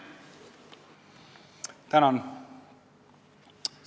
Tänan!